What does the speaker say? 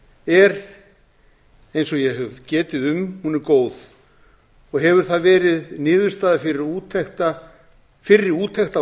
er eins og ég hef getið um er góð og hefur það verið niðurstaða fyrri úttekta á